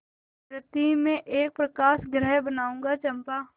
मृति में एक प्रकाशगृह बनाऊंगा चंपा